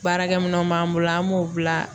Baarakɛminanw b'an bolo an b'o bila